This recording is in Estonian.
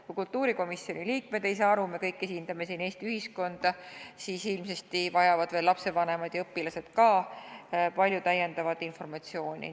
Kui kultuurikomisjoni liikmed ei saa aru – me kõik esindame siin Eesti ühiskonda –, siis ilmsesti vajavad ka lapsevanemad ja õpilased palju lisainformatsiooni.